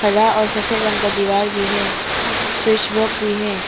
हरा और सफेद रंग का दीवार भी है भी है।